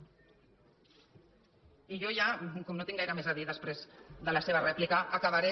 i jo ja com no tinc gaire més a dir després de la seva rèplica acabaré